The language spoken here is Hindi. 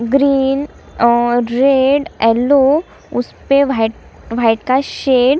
ग्रीन और रेड यल्लो उसपे वाइट वाइट का शेड --